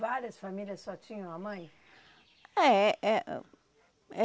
Várias famílias só tinham a mãe? É é